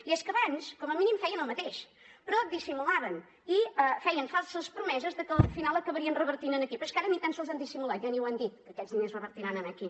i és que abans com a mínim feien el mateix però dissimulaven i feien falses promeses de que al final acabarien revertint aquí però és que ara ni tan sols han dissimulat ja ni ho han dit que aquests diners revertiran aquí